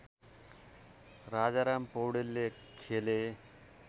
राजाराम पौडेलले खेले